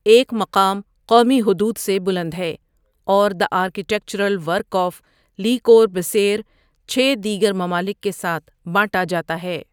ایک مقام قومی حدود سے بلند ہے، اور the architectural work of Le Corbusier چھ دیگر ممالک کے ساتھ بانٹا جاتا ہے۔